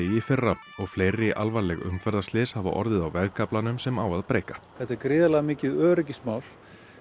í fyrra og fleiri alvarleg umferðarslys hafa orðið á vegkaflanum sem á að breikka þetta er gríðarlega mikið öryggismál